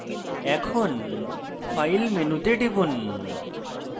এখন file মেনুতে টিপুন